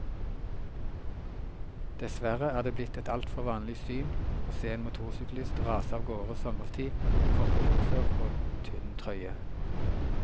Dessverre er det blitt et altfor vanlig syn å se en motorsyklist rase av gårde sommerstid i kortbukser og tynn trøye.